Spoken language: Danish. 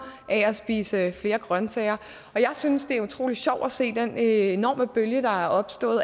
af at spise flere grønsager og jeg synes det er utrolig sjovt at se den enorme bølge der er opstået